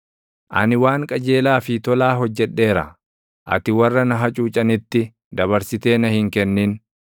Ani waan qajeelaa fi tolaa hojjedheera; ati warra na hacuucanitti dabarsitee na hin kennin.